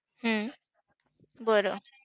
हम्म बरं!